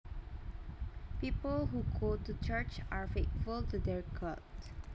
People who go to church are faithful to their God